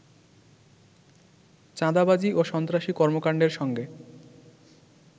চাঁদাবাজি ও সন্ত্রাসী কর্মকাণ্ডের সঙ্গে